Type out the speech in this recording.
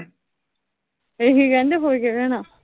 ਇਹੀ ਕਹਿੰਦੇ ਆ ਹੋਰ ਕਿਆ ਕਹਿਣਾ।